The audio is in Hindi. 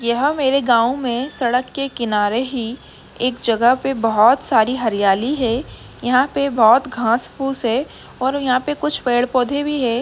यह मेरे गाँव में सड़क के किनारे ही एक जगह पे बोहोत सारी हरयाली है। यहाॅं पे बोहोत घास फूश है और यहाॅं पे कुछ पेड़ पौधे भी है।